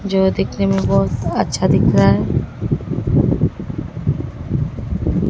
जो दिखने में बहुत अच्छा दिख रहा है।